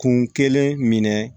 Kun kelen minɛ